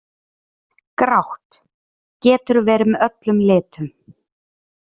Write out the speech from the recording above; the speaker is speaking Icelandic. Grátt: Getur verið með öllum litum.